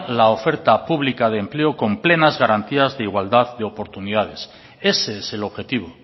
la oferta pública de empleo con plenas garantías de igualdad de oportunidades ese es el objetivo